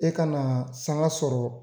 E ka na sanga sɔrɔ